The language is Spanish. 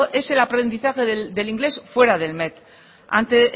es el aprendizaje del inglés fuera del met ante